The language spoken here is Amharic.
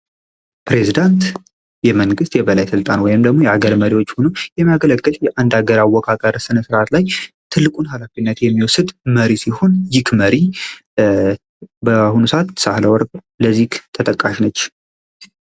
ፕረዚዳንት የመንግስት የበላይ ስልጣን ወይም ደግሞ የሀገር መሪ ሆኖ የሚያገለግል ነዉ።